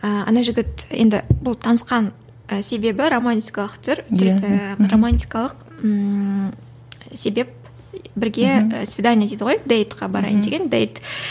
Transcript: ііі ана жігіт енді бұл танысқан і себебі романтикалық түр түр ііі романтикалық ммм себеп бірге свидание дейді ғой дэйдқа барайын деген дэйд